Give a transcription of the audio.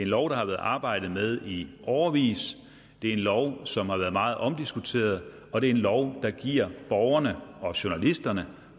lov der har været arbejdet med i årevis det er en lov som har været meget omdiskuteret og det er en lov der giver borgerne og journalisterne